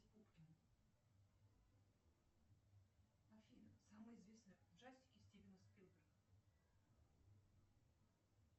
афина самые известные ужастики стивена спилберга